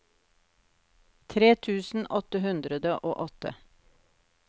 tre tusen åtte hundre og åtte